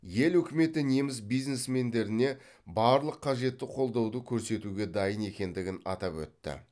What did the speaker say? ел үкіметі неміс бизнесмендеріне барлық қажетті қолдауды көрсетуге дайын екендігін атап өтті